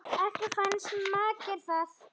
Ekki fannst makker það